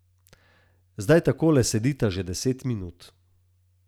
Zdaj takole sedita že deset minut.